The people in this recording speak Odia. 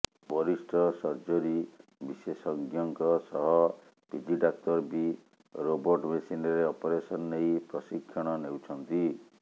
ବରିଷ୍ଠ ସର୍ଜରୀ ବିଶେଷଜ୍ଞଙ୍କ ସହ ପିଜି ଡାକ୍ତର ବି ରୋବଟ ମେସିନରେ ଅପରେସନ ନେଇ ପ୍ରଶିକ୍ଷଣ ନେଉଛନ୍ତି